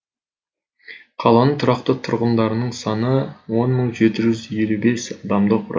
қаланың тұрақты тұрғындарының саны он мың жеті жүз елу бес адамды құрайд